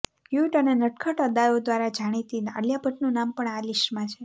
cute અને નટખટ અદાઓ દ્વારા જાણીતી આલિયા ભટ્ટનું નામ પણ આ લિસ્ટમાં છે